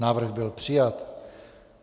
Návrh byl přijat.